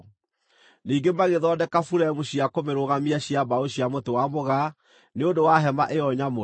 Ningĩ magĩthondeka buremu cia kũmĩrũgamia cia mbaũ cia mũtĩ wa mũgaa nĩ ũndũ wa hema ĩyo nyamũre.